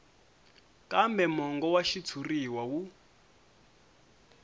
kambe mongo wa xitshuriwa wu